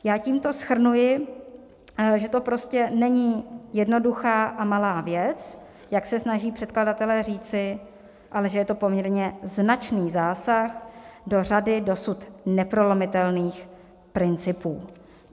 Já tímto shrnuji, že to prostě není jednoduchá a malá věc, jak se snaží předkladatelé říci, ale že je to poměrně značný zásah do řady dosud neprolomitelných principů.